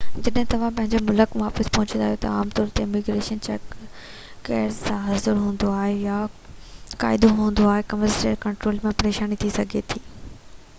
جڏهن توهان پنهنجي ملڪ واپس پهچندا آهيو تہ عام طور تي اميگريشن چيڪ غير حاضر هوندو آهي يا قاعدو هوندو آهي ڪسٽمز ڪنٽرول ۾ پريشاني ٿي سگهي ٿي